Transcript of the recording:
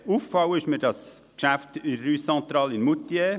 Aufgefallen ist mir das Geschäft betreffend die Rue Centrale in Moutier.